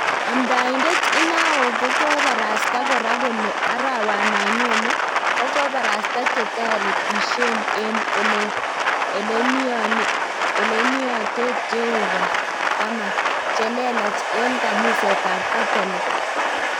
Amdaitet inao kokaparasta kora kole arawano nyone, koparastaa chetaretishen en ele niotet Jehova 10 che leelach en kaniset ap katolik